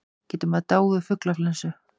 Getur maður dáið úr fuglaflensu?